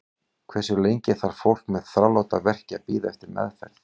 Hversu lengi þarf fólk með þráláta verki að bíða eftir meðferð?